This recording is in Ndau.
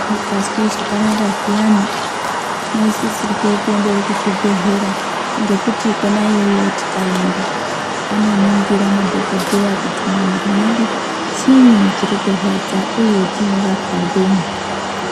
Tisikazwi zvakanaka zviyani tinosisire kuende kuzvibhedhleya. Ngekuti kona iyoyo tikaenda anoningira madhogodheya kuti mumwiri mwedu chiyi chiri kurwadza, uye chinorwapwa ngenyi.